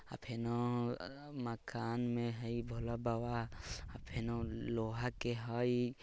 अ फेनो अ मकान में हई भोला बाबा अ फेनो लोहा के हई।